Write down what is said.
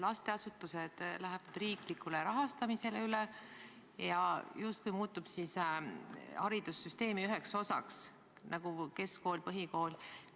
Lasteasutused lähevad riiklikule rahastamisele üle ja justkui muutuvad haridussüsteemi üheks osaks, nagu on keskkool ja põhikool.